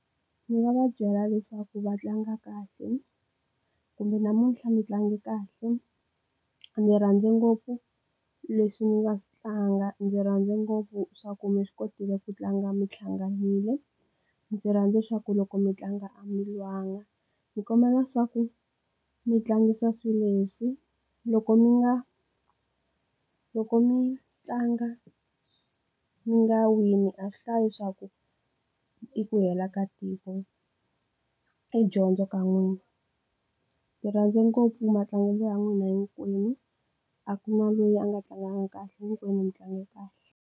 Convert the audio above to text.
Ndzi nga va byela leswaku va tlanga kahle kumbe namuntlha mi tlange kahle, ndzi rhandze ngopfu leswi mi nga swi tlanga ndzi rhandze ngopfu swa ku mi swi kotile ku tlanga mi hlanganile ndzi rhandza leswaku loko mi tlanga a mi lwanga ni kombela swa ku mi tlangisa swilo leswi loko mi nga loko mi tlanga mi nga wini a swi hlayi swa ku i ku hela ka tiko i dyondzo ka n'wina ni rhandza ngopfu matlangelo ya n'wina hinkwenu a kuna lweyi a nga tlanganga kahle hinkwenu mitlange kahle.